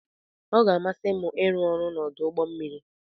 Ọ ga-amasị m ịrụ ọrụ n'ọdụ ụgbọ mmiri.